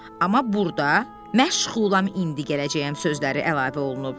Amma burda "məşğulam indi gələcəyəm" sözləri əlavə olunub.